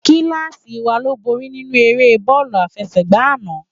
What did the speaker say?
Kilási wá ló bóri ninú ëré bòlù áfèségbá àná